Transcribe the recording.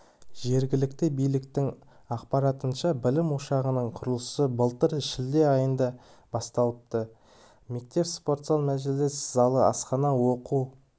жергілікті биліктің ақпаратынша білім ошағының құрылысы былтыр шілде айында басталыпты мектепте спортзал мәжіліс залы асхана оқу